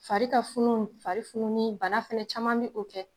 Fari ka funu, fari fununi bana fɛnɛ caman bi o kɛ